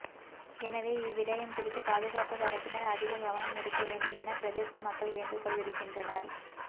எனவே இவ்விடயம் குறித்து பாதுகாப்புத் தரப்பினர் அதிக கவனம் எடுக்க வேண்டும் என பிரதேச மக்கள் வேண்டுகோள் விடுக்கின்றனர்